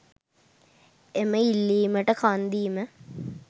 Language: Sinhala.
එම ඉල්ලීමට කන්දීම